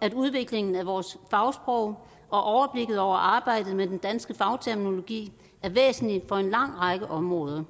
at udviklingen af vores fagsprog og overblikket over arbejdet med den danske fagterminologi er væsentlig for en lang række områder